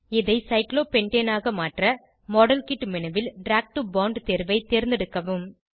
இதை சைக்ளோபென்டேன் ஆக மாற்ற மாடல்கிட் மேனு ல் டிராக் டோ போண்ட் தேர்வை தேர்ந்தெடுக்கவும்